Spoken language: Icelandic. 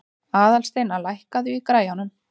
Aðalsteina, lækkaðu í græjunum.